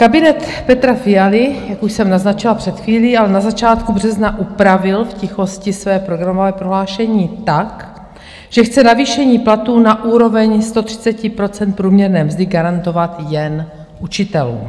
Kabinet Petra Fialy, jak už jsem naznačila před chvílí, ale na začátku března upravil v tichosti své programové prohlášení tak, že chce navýšení platů na úroveň 130 % průměrné mzdy garantovat jen učitelům.